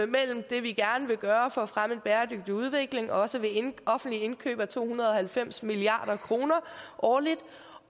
mellem det vi gerne vil gøre for at fremme en bæredygtig udvikling også ved offentligt indkøb på to hundrede og halvfems milliard kroner årligt